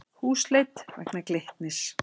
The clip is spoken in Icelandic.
Húsleit vegna Glitnis